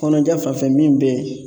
Kɔnɔja fanfɛ min be yen